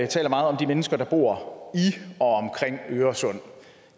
taler meget om de mennesker der bor i øresund